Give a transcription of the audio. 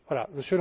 Europe.